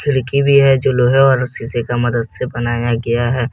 खिड़की भी है जो लोहे और शीशे का मदद से बनाया गया है।